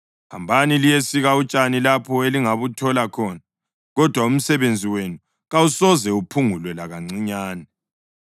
Hambani liyesika utshani lapho elingabuthola khona. Kodwa umsebenzi wenu kawusoze uphungulwe lakancinyane.’ ”